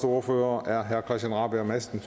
ordfører er herre christian rabjerg madsen